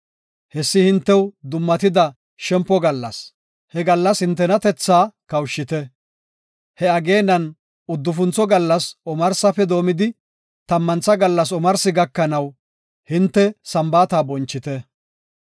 Hessi hintew dummatida shempo gallas; he gallas hintenatethaa kawushite. He ageenan uddufuntho gallas omarsafe doomidi, tammantha gallas omarsi gakanaw hinte Sambaata bonchite.